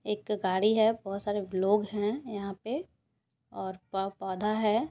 एक गाड़ी है बहोत सारे लोग हैं यहा पे और पो-पोधा है।